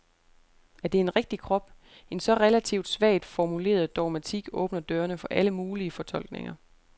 Er det en rigtig krop? En så relativt svagt formuleret dogmatik åbner dørene for alle mulige fortolkninger.